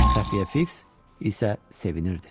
Xəfiyyə Fiks isə sevinirdi.